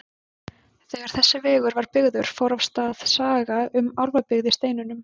Þegar þessi vegur var byggður fór af stað saga um álfabyggð í steinunum.